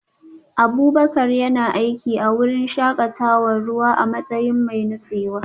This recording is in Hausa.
Abubakar yana aiki a wurin shakatawar ruwa a matsayin mai nutsewa